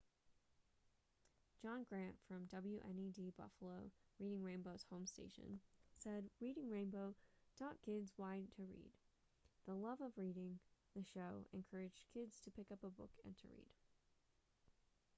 john grant from wned buffalo reading rainbow's home station said reading rainbow taught kids why to read,... the love of reading — [the show] encouraged kids to pick up a book and to read.